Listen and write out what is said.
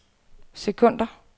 sekunder